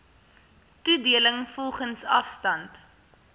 toedeling volgens afstand